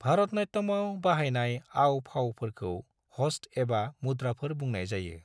भारतनाट्यमआव बाहायनाय आव-फावफोरखौ हस्त एबा मुद्राफोर बुंनाय जायो।